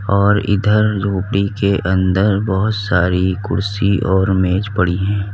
और इधर झोपडी के अंदर बहोत सारी कुर्सी और मेज पड़ी है।